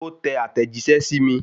Ó tẹ àtẹ̀jíṣẹ́ sí mi